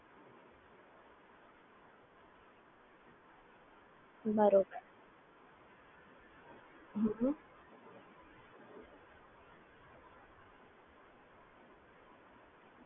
બરોબર, બરોબર